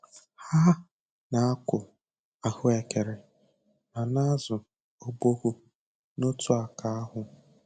Ha na-akụ ahụekere ma na-azụ ọbọgwụ n'otu aka ahụ.